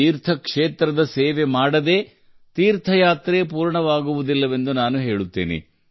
ತೀರ್ಥ ಕ್ಷೇತ್ರದ ಸೇವೆ ಮಾಡದೇ ತೀರ್ಥಯಾತ್ರೆ ಪೂರ್ಣವಾಗುವುದಿಲ್ಲವೆಂದು ನಾನು ಹೇಳುತ್ತೇನೆ